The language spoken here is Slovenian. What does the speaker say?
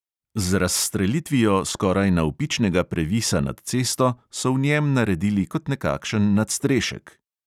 Z razstrelitvijo skoraj navpičnega previsa nad cesto so v njem naredili kot nekakšen nadstrešek.